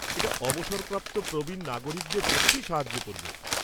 এটা অবসরপ্রাপ্ত প্রবীণ নাগরিকদের সত্যিই সাহায্য করবে।